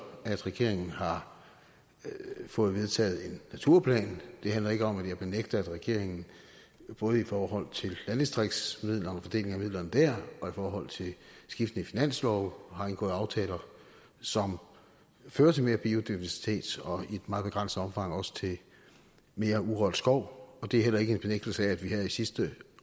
at regeringen har fået vedtaget en naturplan det handler ikke om at jeg benægter at regeringen både i forhold til fordelingen landdistriktsmidlerne og i forhold til skiftende finanslove har indgået aftaler som fører til mere biodiversitet og i et meget begrænset omfang også til mere urørt skov og det er heller ikke en benægtelse af at vi her i sidste